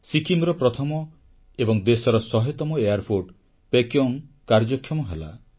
ସିକ୍କିମର ପ୍ରଥମ ଏବଂ ଦେଶର ଶହେତମ ଏୟାରପୋର୍ଟ ପେକ୍ୟୋଙ୍ଗ କାର୍ଯ୍ୟକ୍ଷମ ହେଲା